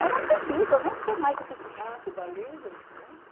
É uma bebida, eu não sei mais o que... Ah, Cuba Libre, será?